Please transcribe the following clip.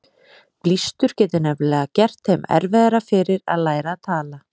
Blístur getur nefnilega gert þeim erfiðara fyrir að læra að tala.